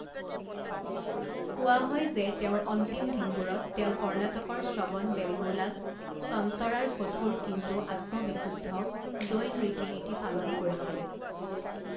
কোৱা হয় যে তেওঁৰ অন্তিম দিনবোৰত তেওঁ কৰ্ণাটকৰ শ্ৰৱণ বেলগোলাত সন্তৰাৰ কঠোৰ কিন্তু আত্ম বিশুদ্ধ জৈন ৰীতি নীতি পালন কৰিছিল।